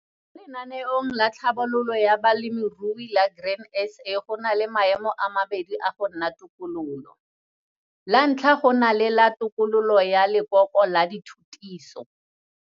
Lenaneong la Tlhabololo ya Balemirui la Grain SA go na le maemo a mabedi a go nna tokololo. La ntlha go na le la 'Tokololo ya Lekoko la Dithutiso'.